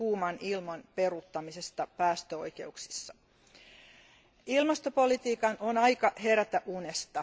kuuman ilman peruuttamisesta päästöoikeuksissa. Ilmastopolitiikan on aika herätä unesta.